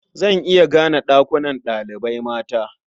Zan iya gane ɗakunan ɗalibai mata.